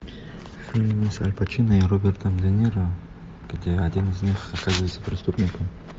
фильм с аль пачино и робертом де ниро где один из них оказывается преступником